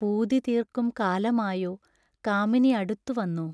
പൂതി തീർക്കും കാലമായോ കാമിനിയടുത്തു വന്നോ